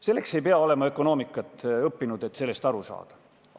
Selleks ei pea olema ökonoomikat õppinud, et sellest aru saada.